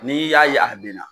N'i y'a ye a bɛ na,